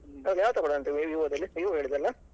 ಹೌದು ಯಾವ್ದ್ ತಗೊಳ್ಳುದು ಅಂತ Vivo ದಲ್ಲಿ Vivo ಹೇಳಿದಲ್ವಾ.